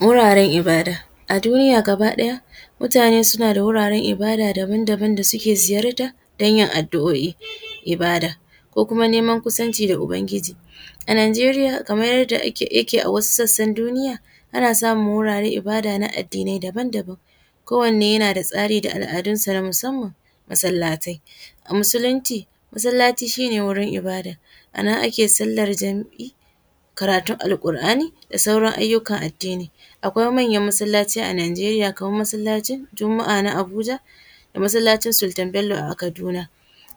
Wuraren ibada, a duniya gaba ɗaya mutane suna da wurin ibada daban-daban wanda suke ziyarta don yin adu’o’I ibada ko kuma neman kusanci da uban giji, a Nijeriya kamar yadda yake a wasu sassan duniya ana samun wuraren ibada na addini ne daban-daban kowane yana da tsari da al’adunsa na musamman, masalatai a musulunci masalaci shine wurin ibada a nan ake sallar jan’i karatun alkur’ani da sauran ayyukan addini akwai manyan masalaci a Nigeriya kamar masalacin juma’a na Abuja da masalacin Sultan Bello a kaduna,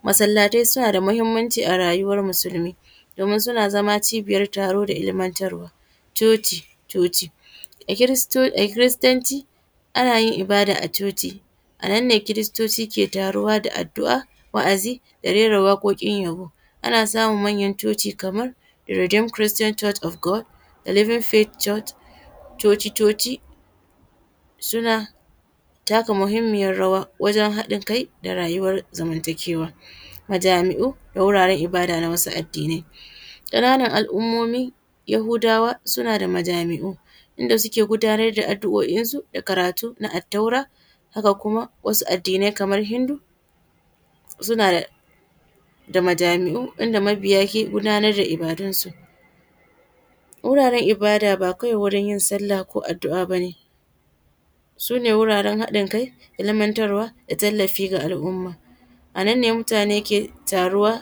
masalatai suna da matukar muhimmanci a rayuwan musulmi domi suna zama cibiyar taro da ilmantarwa, chochi-chochi a kiristanci ana yin ibada a chochi a nan ne kiristoci ke taruwa da adu’a wa’azi da rera waƙoƙi yaɓo ana samun manyar chochi kamar Reedem christain Church of God, Living Faith Church, Chochi-Chochi suna taka muhimmiyar rawa wajen haɗin kai da rayuwan zamantakewa, majami’u da wuraren ibada na wasu addinai kananan al’umomi yahudawa suna da majami’u da suke gudanar da addu’o’insu da karatu na attaura, haka kuma wasu addinai kamar Hindu suna da majami’u wanda mabiya ke gudar da ibadunsu, wuraren ibada ba kawai wurin yin sallah ko addua bane sune wuraren haɗin kai ilmantarwa da tallafi ga al’umma a nan ne mutane ke taruwa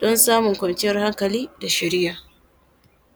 don samun kwanciyar hankali da shiriya.